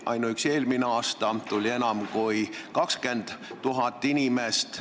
Ainuüksi eelmine aasta tuli siia enam kui 20 000 inimest.